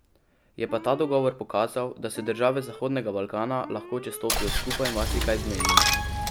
Je pa ta dogovor pokazal, da se države Zahodnega Balkana lahko, če stopijo skupaj, marsikaj zmenijo.